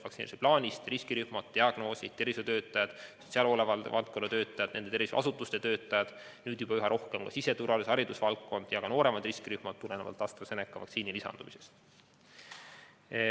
riskirühmi ja diagnoose, tervishoiutöötajad, sotsiaalhoolekande valdkonna töötajad, teised tervishoiuasutuste töötajad, nüüd juba üha rohkem ka siseturvalisus- ja haridusvaldkonna töötajad, samuti nooremad riskirühma kuulujad, tulenevalt AstraZeneca vaktsiini lisandumisest.